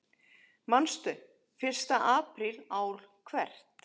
Manstu: Fyrsta apríl ár hvert.